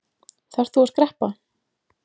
Þarft þú að skreppa?